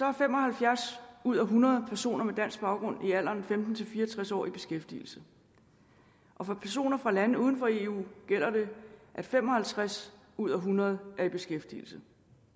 at fem og halvfjerds ud af hundrede personer med dansk baggrund i alderen femten til fire og tres år er i beskæftigelse og for personer fra lande uden for eu gælder det at fem og halvtreds ud af hundrede er i beskæftigelse